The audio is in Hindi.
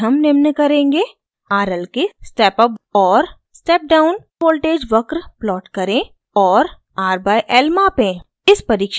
इस परिक्षण में हम निम्न करेंगे: